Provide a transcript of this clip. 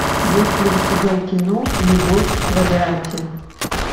есть ли у тебя кино любовь в квадрате